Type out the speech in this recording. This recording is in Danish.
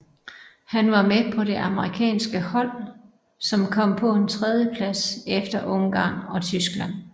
Han var med på det amerikanske hold som kom på en tredjeplads efter Ungarn og Tyskland